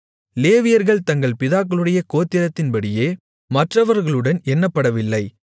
லேவியர்கள் தங்கள் பிதாக்களுடைய கோத்திரத்தின்படியே மற்றவர்களுடன் எண்ணப்படவில்லை